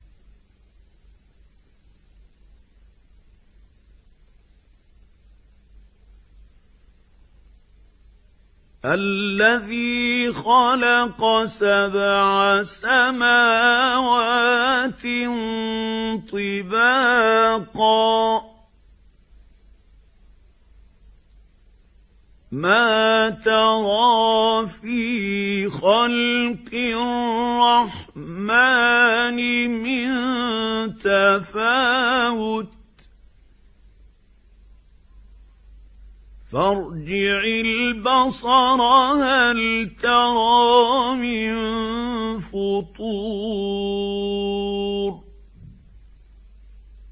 الَّذِي خَلَقَ سَبْعَ سَمَاوَاتٍ طِبَاقًا ۖ مَّا تَرَىٰ فِي خَلْقِ الرَّحْمَٰنِ مِن تَفَاوُتٍ ۖ فَارْجِعِ الْبَصَرَ هَلْ تَرَىٰ مِن فُطُورٍ